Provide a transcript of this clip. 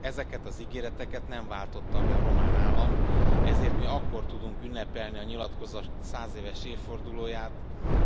Ezeket az ígéreteket nem váltotta be a román állam, ezért mi akkor tudjuk ünnepelni a nyilatkozat százéves évfordulóját,